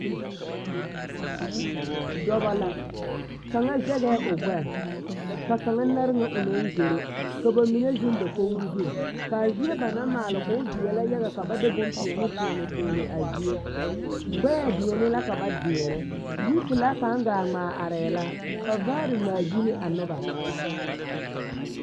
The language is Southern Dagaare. Dɔbɔ la, kaŋa zɛgɛɛ o gbɛɛ ka kaŋa nare ŋa o naŋ zoro ka bamine zeŋ dakogiri zu k'a zie ba naŋ maale k'o veɛlɛ yaga ka ba de bompeɛne toɔne toɔne a zie, gbɛɛ deɛne la ka ba deɛnɛ, yipelaa kaŋa gaa ŋmaa arɛɛ la ka vaare ŋmaa gyili a noba.